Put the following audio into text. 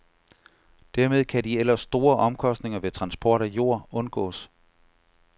Dermed kan de ellers store omkostninger ved transport af jord undgås.